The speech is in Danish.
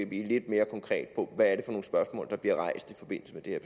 blive lidt mere konkret om hvad nogle spørgsmål der bliver rejst i forbindelse med det